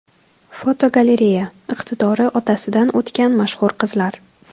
Fotogalereya: Iqtidori otasidan o‘tgan mashhur qizlar.